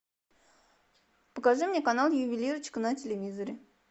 покажи мне канал ювелирочка на телевизоре